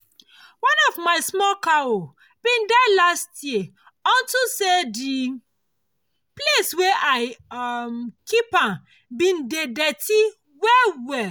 one of my small cow been die last year unto say the place wey i um keep am been dey dirty well well